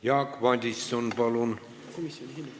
Jaak Madison, palun!